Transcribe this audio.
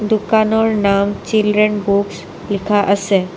দোকানৰ নাম children books লিখা আছে।